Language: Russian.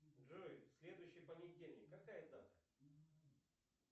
джой следующий понедельник какая дата